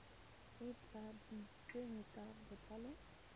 e e tladitsweng ka botlalo